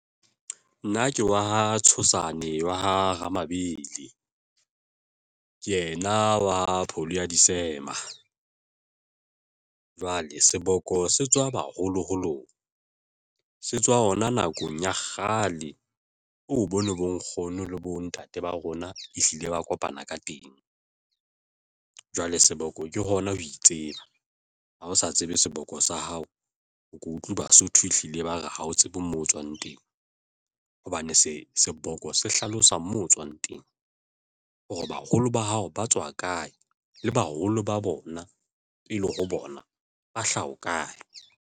Nna ke wa ha Tshosane wa ha Mabelebele ke yena wa pholo ya disema. Jwale seboko se tswa baholoholong se tswa hona nakong ya kgale, o bo no bonkgono le bontate ba rona ehlile ba kopana ka teng. Jwale seboko ke hona ho itseba ha o sa tsebe seboko sa hao, o ke utlwa Basotho, ehlile ba re ha o tsebe moo tswang teng hobane se seboko se hlalosa mo o tswang teng hore baholo ba hao ba tswa kae le baholo ba bona pele ho bona ba hlaha ho kae.